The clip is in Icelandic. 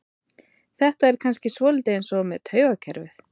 þetta er kannski svolítið eins með taugakerfið